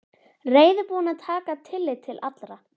Reiðubúinn að taka tillit til allra.